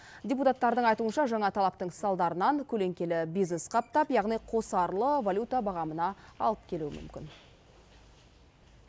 депутаттардың айтуынша жаңа талаптың салдарынан көлеңкелі бизнес қаптап яғни қосарлы валюта бағамына алып келуі мүмкін